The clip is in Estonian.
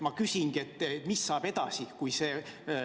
Ma küsingi: mis saab edasi?